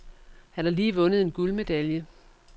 Han har lige vundet en guldmedalje.